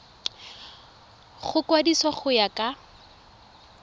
go kwadisiwa go ya ka